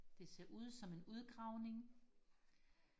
det ser ud som en udgravning